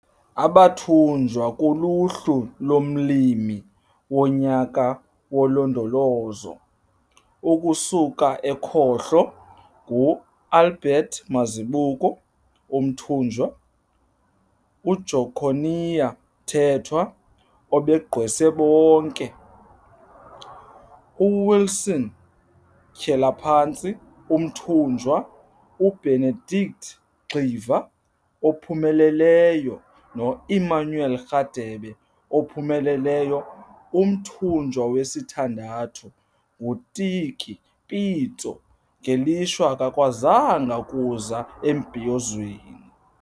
Abatyunjwa kuluhlu lomLimi woNyaka woLondolozo, ukusuka ekhohlo - nguAlbert Mazibuko, umtyunjwa, uJoconia Mthethwa, obagqwese bonke, uWilson Tyelaphantsi, umtyunjwa, uBenedict Gxiva, ophumeleleyo, noEmmanuel Rhadebe, ophumeleleyo. Umtyunjwa wesithandathu, uTiki Pitso, ngelishwa akakwazanga kuza embhiyozweni.